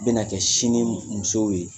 N bɛna kɛ sini musow ye